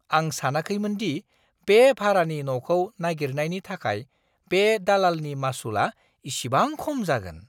आं सानाखैमोन दि बे भारानि न'खौ नागिरनायनि थाखाय बे दालालनि मासुलआ इसेबां खम जागोन!